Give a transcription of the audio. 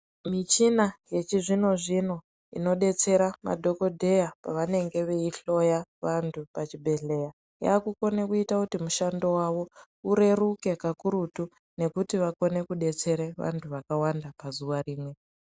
Michina yechizvino zvino inodetsera madhokodheya pavanenge vechihloya vantu pachibhedheya yakukona kuita kuti mishando yavo ireruke kakurutu nekuti vakone kudetsera vantu vakawanda pazuva rimwe.